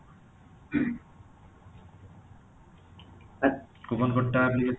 coupon code ଟା ଭି